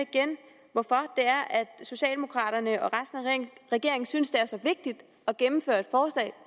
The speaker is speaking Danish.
hvorfor socialdemokraterne og resten af regeringen synes det er så vigtigt at gennemføre et forslag